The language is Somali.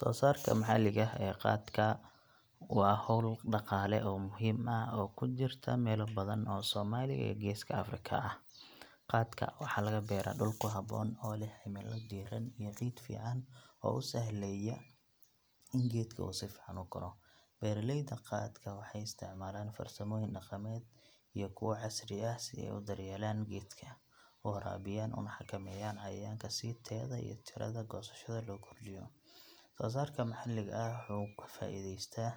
Soosaarka maxalliga ah ee qaadka waa hawl dhaqaale oo muhiim ah oo ka jirta meelo badan oo Soomaaliya iyo Geeska Afrika ah. Qaadka waxaa laga beeraa dhul ku habboon, oo leh cimilo diiran iyo ciid fiican oo u sahlaya in geedka uu si fiican u koro. Beeralayda qaadka waxay isticmaalaan farsamooyin dhaqameed iyo kuwo casri ah si ay u daryeelaan geedka, u waraabiyaan, una xakameeyaan cayayaanka si tayada iyo tirada goosashada loo kordhiyo. Soosaarka maxalliga ah wuxuu ka faa'iideystaa